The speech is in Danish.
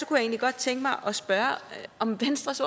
egentlig godt tænke mig at spørge om venstres